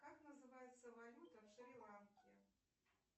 как называется валюта в шри ланке